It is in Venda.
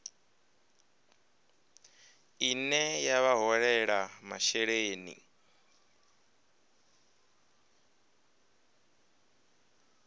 ine ya vha holela masheleni